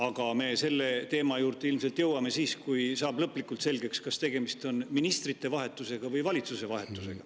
Aga selle teema juurde ilmselt jõuame siis, kui saab lõplikult selgeks, kas tegemist on ministrite vahetusega või valitsuse vahetusega.